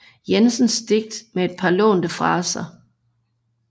Jensens digt med et par lånte fraser